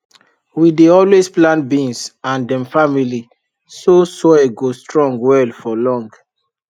we dey always plant beans and dem family so soil go strong well for long